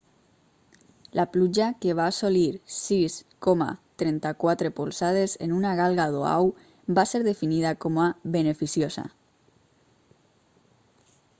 la pluja que va assolir 6,34 polzades en una galga d'oahu va ser definida com a beneficiosa